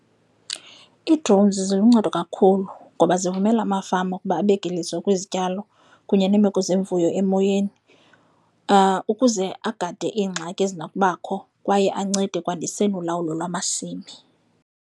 Ii-drones ziluncedo kakhulu ngoba zivumela amafama ukuba abeke iliso kwizityalo kunye neemeko zeemfuyo emoyeni ukuze agade ingxaki ezinakubakho kwaye ancede ekwandiseni ulawulo lwamasimi.